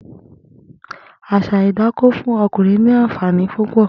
Àṣà idákó fùn ọkúnrìn ni ànfàní púpọ̀